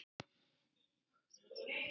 Hún brosir líka.